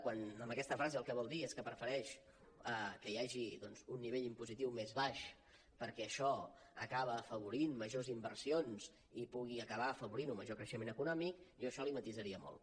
quan amb aquesta frase el que vol dir és que prefereix que hi hagi un nivell impositiu més baix perquè això acaba afavorint majors inversions i pugui acabar afavorint un major creixement econòmic jo això l’hi matisaria molt